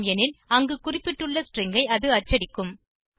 ஆம் எனில் அங்கு குறிப்பிட்டுள்ள ஸ்ட்ரிங் ஐ அது அச்சடிக்கும்